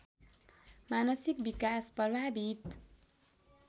मानसिक विकास प्रभावित